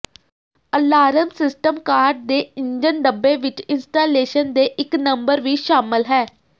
alarm system car ਦੇ engine ਡੱਬੇ ਵਿੱਚ ਇੰਸਟਾਲੇਸ਼ਨ ਦੇ ਇੱਕ ਨੰਬਰ ਵੀ ਸ਼ਾਮਲ ਹੈ